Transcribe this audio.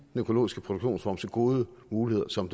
økologiske produktionsform så gode muligheder som